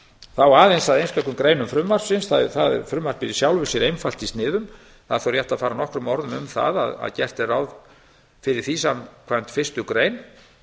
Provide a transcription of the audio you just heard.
þá aðeins að einstökum greinum frumvarpsins það er í sjálfu sér einfalt í sniðum það er þó rétt að fara nokkrum orðum um það að gert er ráð fyrir því samkvæmt fyrstu grein